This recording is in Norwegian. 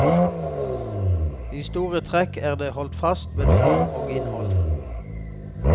I store trekk er det holdt fast ved form og innhold.